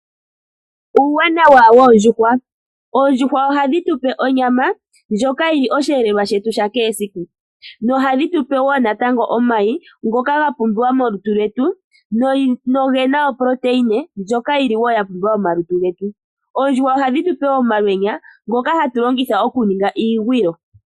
Uuwanawa woondjuhwa, oondjuhwa ohadhi tu pe onyama ndjoka yili osheelelwa shetu shakehe siku nohadhi tu pe wo omayi ngoka gapumbiwa molutu lwetu noge na uundjolowele mboka wa pumbiwa momalutu getu. Oondjuhwa ohadhi tu pe wo omalwenya ngoka hatu longitha okuninga iikuusinga.